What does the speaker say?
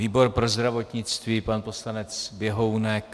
Výbor pro zdravotnictví - pan poslanec Běhounek.